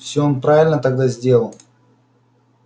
все он правильно тогда сделал